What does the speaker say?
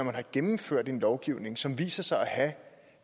er gennemført en lovgivning som viser sig at have